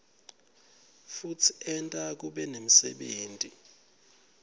futsi enta kube nemsebenti